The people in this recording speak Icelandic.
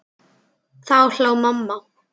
Þá hló mamma.